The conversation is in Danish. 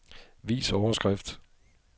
Vis overskrift.